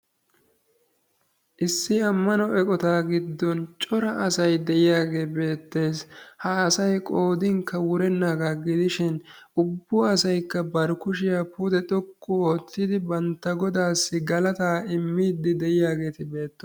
Issi ammano eqqota giddon cora asay deiyage beettees. ha asay qoodinkka wurenaga gidishin ubbua asaykka ba kushiya pude xoqqu ottidi bantta goodassi galaataa immidi dieyageti bettoosona.